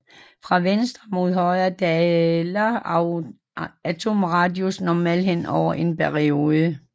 Fra venstre mod højre daler atomradius normalt henover en periode